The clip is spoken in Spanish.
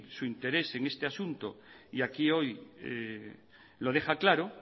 su interés en este asunto y aquí hoy lo deja claro